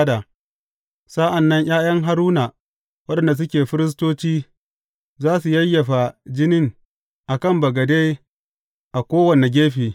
Sa’an nan ’ya’yan Haruna waɗanda suke firistoci za su yayyafa jinin a kan bagade a kowane gefe.